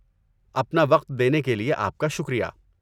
اپنا وقت دینے کے لیے آپ کا شکریہ!